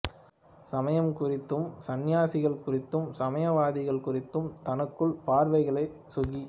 சமயம் குறித்தும் சந்நியாசிகள் குறித்தும் சமயவாதிகள் குறித்தும் தனக்குள்ள பார்வைகளை சுகி